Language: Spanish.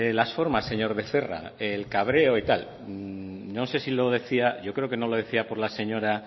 las formas señor becerra el cabreo y tal no sé si lo decía yo creo que no lo decía por la señora